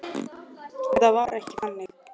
Þetta var ekki þannig.